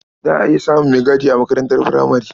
Za a iya samun maigadi a makarantar furamare.